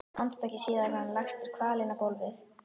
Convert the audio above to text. Andartaki síðar var hann lagstur kvalinn á gólfið.